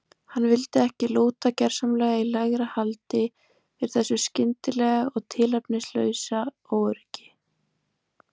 Hann vildi ekki lúta gersamlega í lægra haldi fyrir þessu skyndilega og tilefnislausa óöryggi.